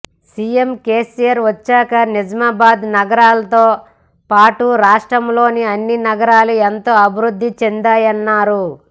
CM KCR వచ్చాక నిజామాబాద్ నగరంతో పాటు రాష్ట్రంలోని అన్ని నగరాలు ఎంతో అభివృద్ధి చెందాయన్నారు